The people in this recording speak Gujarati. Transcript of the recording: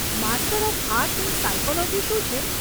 Master of arts in psychology શું છે?